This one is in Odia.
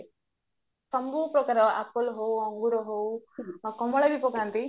ସବୁ ପ୍ରକାର apple ହୋଉ ଅଙ୍ଗୁରୁ ହୋଉ ଆଉ କମଳା ବି ପକାନ୍ତି